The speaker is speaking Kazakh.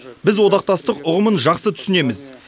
біз одақтастық ұғымын жақсы түсінеміз